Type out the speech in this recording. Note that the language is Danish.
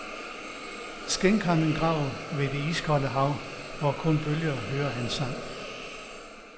Skænk ham en grav ved det iskolde hav, hvor kun bølgerne hører hans sang.